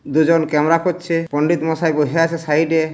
দুজন ক্যামেরা করছে। পন্ডিত মশাই বসে আছে সাইড -এ।